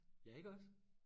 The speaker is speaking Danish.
Ja iggås?